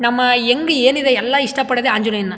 ನಮ್ಮ ಯಂಗ್ ಏನಿದೆ ಎಲ್ಲಾ ಇಷ್ಟಪಡದೆ ಆಂಜನೇಯನ್ನಾ.